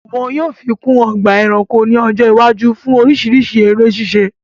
Wọn yóò fi kún ọgbà ẹranko ní ọjọ́ iwájú fún oríṣiríṣi eré ṣíṣe